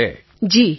Tarannum Khan જી